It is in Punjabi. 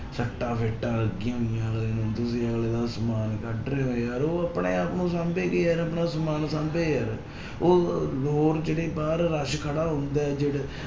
ਸੱਟਾਂ ਫੇਟਾਂ ਲੱਗੀਆਂ ਹੋਈਆਂ ਅਗਲੇ ਨੂੰ, ਤੁਸੀਂ ਅਗਲੇ ਦਾ ਸਮਾਨ ਕੱਢ ਰਹੇ ਹੋ ਯਾਰ ਉਹ ਆਪਣੇ ਆਪ ਨੂੰ ਸਾਂਭੇ ਕਿ ਯਾਰ ਆਪਣਾ ਸਮਾਨ ਸਾਂਭੇ ਯਾਰ, ਉਹ ਹੋਰ ਜਿਹੜੇ ਬਾਹਰ rush ਖੜਾ ਹੁੰਦਾ ਹੈ ਜਿਹੜੇ